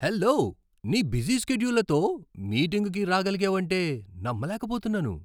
Hello! నీ busy స్కెడ్యూల్లతో మీటింగ్కి రాగలిగావంటే నమ్మలేకపోతున్నాను!